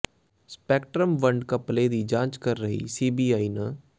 spectrum ਵੰਡ ਘਪਲੇ ਦੀ ਜਾਂਚ ਕਰ ਰਹੀ ਸੀਬੀਆਈ ਨ